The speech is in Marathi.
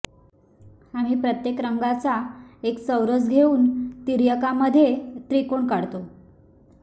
आम्ही प्रत्येक रंगाचा एक चौरस घेऊन तिर्यकांमध्ये त्रिकोण काढतो